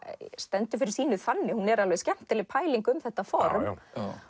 stendur fyrir sínu þannig hún er alveg skemmtileg pæling um þetta form